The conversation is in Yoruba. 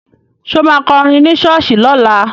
Ṣo ma kọrin ní ṣọ́ọ̀ṣì lọ́la?